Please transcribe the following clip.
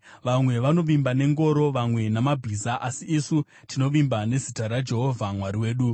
Vamwe vanovimba nengoro, vamwe namabhiza, asi isu tinovimba nezita raJehovha Mwari wedu.